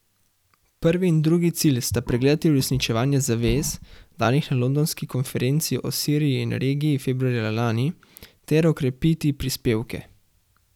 Prvi in drugi cilj sta pregledati uresničevanje zavez, danih na londonski konferenci o Siriji in regiji februarja lani, ter okrepiti prispevke.